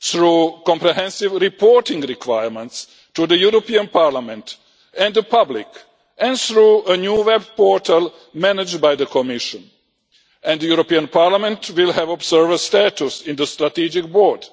through comprehensive reporting requirements to the European Parliament and the public and through a new web portal managed by the Commission, and the European Parliament will have observer status on the strategic board.